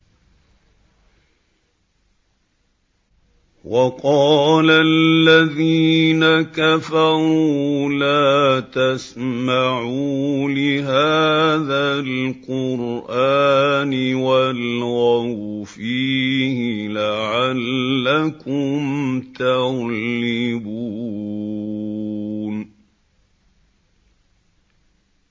وَقَالَ الَّذِينَ كَفَرُوا لَا تَسْمَعُوا لِهَٰذَا الْقُرْآنِ وَالْغَوْا فِيهِ لَعَلَّكُمْ تَغْلِبُونَ